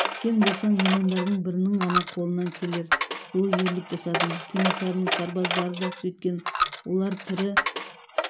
сен болсаң миллиондардың бірінің ғана қолынан келер ұлы ерлік жасадың кенесарының сарбаздары да сөйткен олар тірі